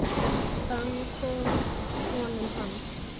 Hvaðan kom honum hann?